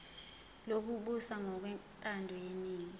lokubusa ngokwentando yeningi